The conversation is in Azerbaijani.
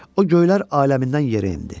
O göylər aləmindən yerə endi.